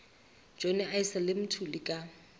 johnny issel le mthuli ka